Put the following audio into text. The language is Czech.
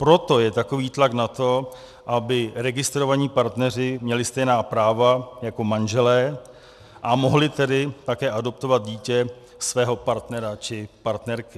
Proto je takový tlak na to, aby registrovaní partneři měli stejná práva jako manželé, a mohli tedy také adoptovat dítě svého partnera či partnerky.